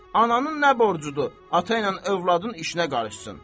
Ananın nə borcudur ata ilə övladın işinə qarışsın?